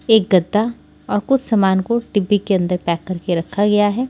एक गद्दा और कुछ सामान को डिब्बी के अंदर पैक करके रखा गया है।